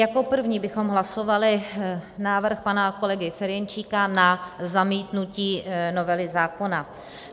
Jako první bychom hlasovali návrh pana kolegy Ferjenčíka na zamítnutí novely zákona.